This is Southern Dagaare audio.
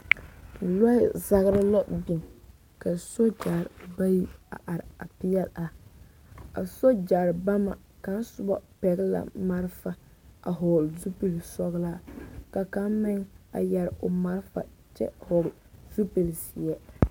Lɔɛ-zagere la biŋ ka sogyɛre bayi a are a peɛle a, a sogyare bama kaŋ soba pɛgele la marefa a hɔɔle zupili sɔgelaa ka kaŋ meŋ a yɛre a marefa kyɛ hɔɔle zupili zeɛ.